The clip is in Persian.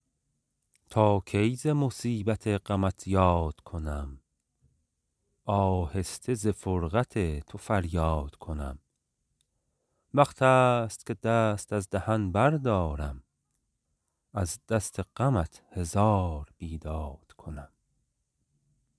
تا کی ز مصیبت غمت یاد کنم آهسته ز فرقت تو فریاد کنم وقت است که دست از دهن بردارم از دست غمت هزار بیداد کنم